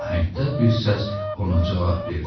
Ahəngdar bir səs ona cavab verdi.